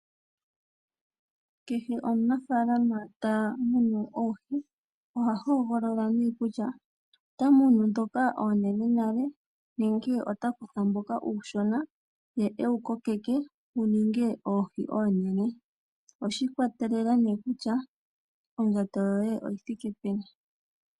Kehe omunafaalama ta munu oohi oha hogolola nee kutya ota munu ndhoka oonene nale nenge ota kutha ndhoka oonshona, ye e dhi kokeke dhininge oohi oonene. Oshi i kwatelela nee kutya ondjato yoye oyi thike peni.